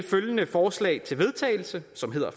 følgende forslag til vedtagelse